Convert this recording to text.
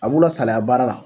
A b'u lasalaya baara la